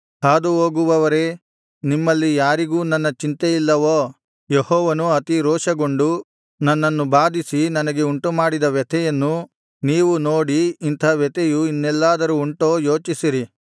ಹಾದುಹೋಗುವವರೇ ನಿಮ್ಮಲ್ಲಿ ಯಾರಿಗೂ ನನ್ನ ಚಿಂತೆ ಇಲ್ಲವೋ ಯೆಹೋವನು ಅತಿ ರೋಷಗೊಂಡು ನನ್ನನ್ನು ಬಾಧಿಸಿ ನನಗೆ ಉಂಟುಮಾಡಿದ ವ್ಯಥೆಯನ್ನು ನೀವು ನೋಡಿ ಇಂಥಾ ವ್ಯಥೆಯು ಇನ್ನೆಲ್ಲಾದರೂ ಉಂಟೋ ಯೋಚಿಸಿರಿ